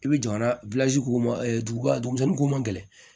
I bɛ jamana k'u ma duguba ma gɛlɛ